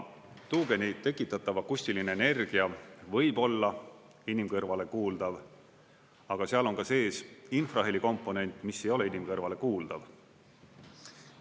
Tuugeni tekitatav akustiline energia võib olla inimkõrvale kuuldav, aga seal on ka sees infrahelikomponent, mis ei ole inimkõrvale kuuldav.